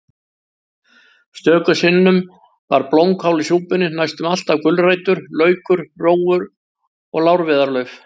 Stöku sinnum var blómkál í súpunni, næstum alltaf gulrætur, laukur, rófur og lárviðarlauf.